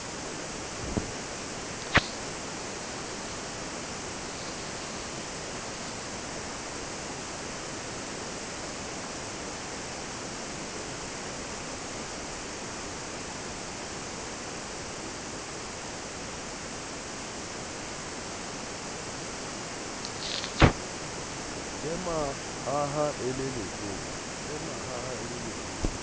le mahaha le lebe letsopa